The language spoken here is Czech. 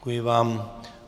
Děkuji vám.